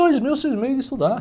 Dois mil eu cismei de estudar.